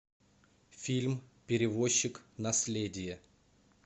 фильм перевозчик наследие